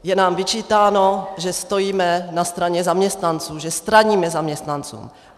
Je nám vyčítáno, že stojíme na straně zaměstnanců, že straníme zaměstnancům.